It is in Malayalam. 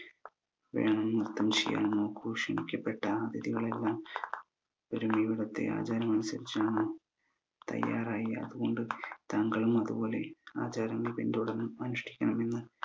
വേണം ന്രത്തം ചെയ്യാൻ നോക്ക് ക്ഷണിക്കപ്പെട്ട അതിഥികളെല്ലാം ഒരുമയോടെ ഇവിടത്ത ആചാരമനുസരിച്ചാണ് തയ്യാറായി അത് കൊണ്ട് താങ്കളും അത് പോലെ ആചാരങ്ങൾ പിന്തുടർന്ന് അനുഷ്ഠിക്കണമെന്ന്